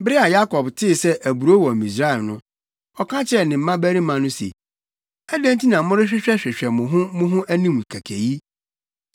Bere a Yakob tee sɛ aburow wɔ Misraim no, ɔka kyerɛɛ ne mmabarima no se, “Adɛn nti na morehwehwɛhwehwɛ mo ho mo ho anim kɛkɛ yi?”